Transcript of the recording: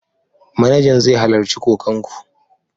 Manajan zai halarci kokan ku.